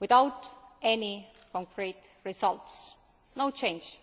without any concrete results no change.